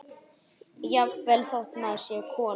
Jafnvel þótt maður sé kona.